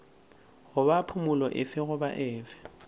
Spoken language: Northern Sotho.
goba phumolo efe goba efe